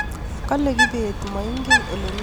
kole kibet maingen maingen ole mii jebet